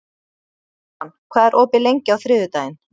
Símon, hvað er opið lengi á þriðjudaginn?